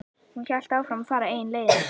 Hún hélt áfram að fara eigin leiðir.